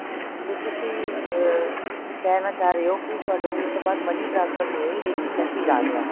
ਤੇ ਤੁਸੀ ਅਹ ਕਹਿਣਾ ਚਾਹ ਰਹੇ ਹੋ ਕਿ ਤੁਹਾਨੂੰ ਉਸ ਤੋਂ ਬਾਅਦ money transfer ਨਹੀਂ ਹੋਈ ਲੇਕਿਨ message ਆ ਗਿਆ